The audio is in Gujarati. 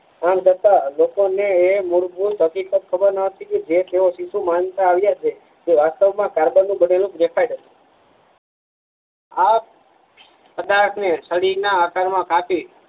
અંધ હતા લોકો ને એ મૂળભૂત હકીકત ખબર નતી કે જે કેવો માનતા આવિયા છે વાસ્તવમાં કાર્બન નું બનેલું ગ્રેફાઇટ આ પદાર્થને છરીના આકાર માં કાપી